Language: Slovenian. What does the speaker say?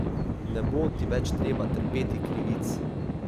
Ne bo ti več treba trpeti krivic.